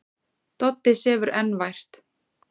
Doddi sefur enn vært.